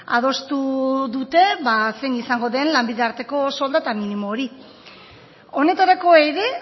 adostu dute zein izango den lanbide arteko soldata minimo hori honetarako ere